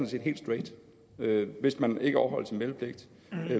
set helt straight hvis man ikke overholder sin meldepligt